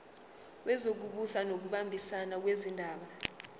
wezokubusa ngokubambisana nezindaba